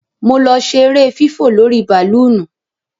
Mo lọ ṣe ere fífò lórí bàlóònù.